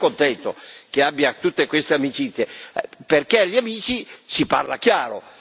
sono ben contento che abbia tutte queste amicizie, perché agli amici si parla chiaro.